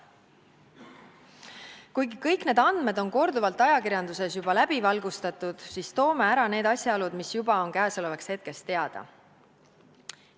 Kuigi kõik need andmed on ajakirjanduses juba korduvalt läbi valgustatud, toome ära need asjaolud, mis on käesolevaks hetkeks teada.